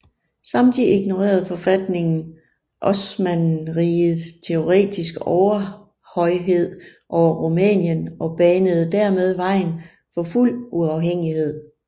Samtidig ignorede forfatningen Osmannerrigets teoretiske overhøjhed over Rumænien og banede dermed vejen for fuld uafhængighed